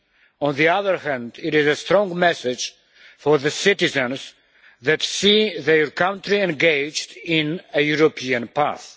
On the other hand, it is a strong message for the citizens that see their country engaged in a European path.